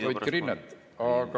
Hoidke rinnet!